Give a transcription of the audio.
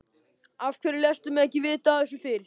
Af hverju léstu mig ekki vita af þessu fyrr?